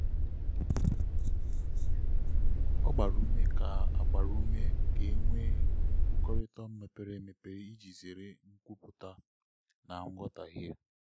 ọ gbara ume ka gbara ume ka e nwee nkwukọrịta mepere emepe iji zere nkwupụta na nghọtahie.